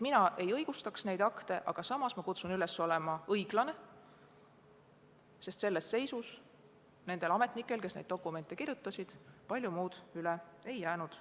Mina ei õigusta neid akte, aga samas ma kutsun üles olema õiglane, sest selles seisus nendel ametnikel, kes neid dokumente kirjutasid, palju muud üle ei jäänud.